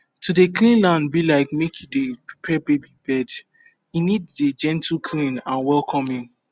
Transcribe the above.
to dey clean land be like make you dey prepare baby bed e need dey gentleclean and welcoming